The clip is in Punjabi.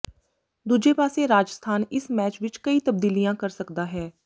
ਦੂਜੇ ਪਾਸੇ ਰਾਜਸਥਾਨ ਇਸ ਮੈਚ ਵਿੱਚ ਕਈ ਤਬਦੀਲੀਆਂ ਕਰ ਸਕਦਾ ਹੈ